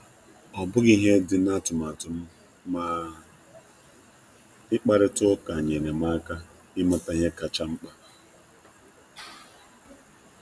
Ọ dighị n'usoro ihe omume m, mana njekwuje ya nyerem aka dokwuo m ihe ndị ka mkpa.